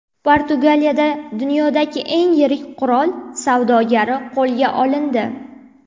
Portugaliyada dunyodagi eng yirik qurol savdogari qo‘lga olindi.